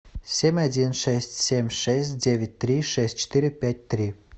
семь один шесть семь шесть девять три шесть четыре пять три